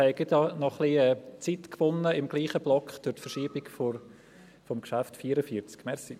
Durch die Verschiebung des Traktandums 44 haben wir im selben Block gerade etwas Zeit gewonnen.